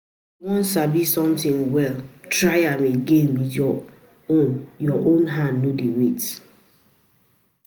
If you wan sabi something well, try am again with your own your own hand, no dey wait.